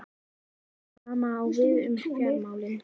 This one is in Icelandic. Hið sama á við um fjármálin.